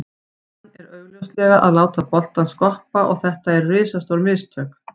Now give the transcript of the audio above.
Hann er augljóslega að láta boltann skoppa og þetta eru risastór mistök.